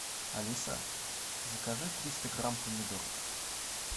алиса закажи триста грамм помидоров